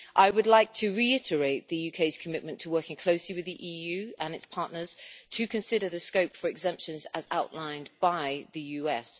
I would like to reiterate the UK's commitment to working closely with the EU and its partners to consider the scope for exemptions as outlined by the US.